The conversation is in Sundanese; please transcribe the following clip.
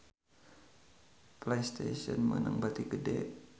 Playstation meunang bati gede